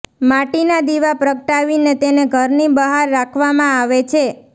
માટીના દીવા પ્રગટાવીને તેને ઘરની બહાર રાખવામાં આવે છે